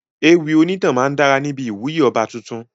Ewì onítàn máa dára níbi ìwúyè ọba tuntun.